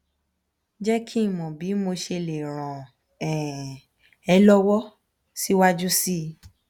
je ki mo bi mo se le ran um e lowo siwaju sii